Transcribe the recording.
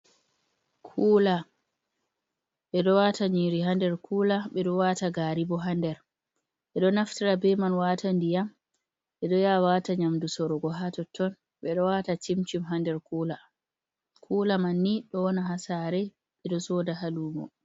Kuula ɓe ɗo waata nyiri hander, kula ɓe ɗo waata gaari ɓo hander, ɓe ɗo naftiara be man waata ndiyam, ɓe ɗo ya waata nyamdu sorgo haa totton ɓe ɗo waata shim-shim hander kuula, kuula man ni ɗo wona haa saare, ɓe ɗo sooda haa lumo.